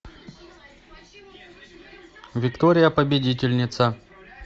виктория победительница